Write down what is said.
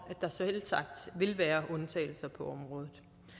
at der selvsagt vil være undtagelser på området